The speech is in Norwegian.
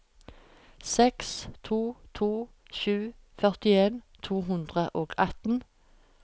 seks to to sju førtien to hundre og atten